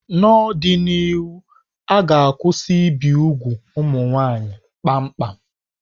N'ọdịnihu, a ga-akwụsị ibi úgwù ụmụ nwanyị kpamkpam.